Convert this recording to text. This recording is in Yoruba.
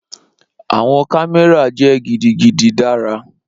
Awọn kamẹra jẹ gidigidi dara.